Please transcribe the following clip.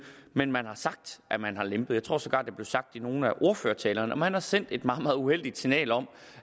men man har sagt at man har lempet tror sågar det blev sagt i nogle af ordførertalerne man har sendt et meget meget uheldigt signal om